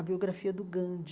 A biografia do Gandhi.